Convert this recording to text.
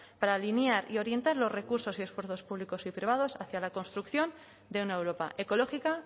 para alinear y orientar los recursos y esfuerzos públicos y privados hacia la construcción de una europa ecológica